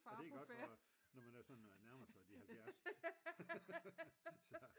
Det er godt når man sådan nærmer sig de halvfjerds